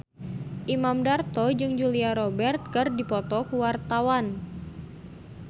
Imam Darto jeung Julia Robert keur dipoto ku wartawan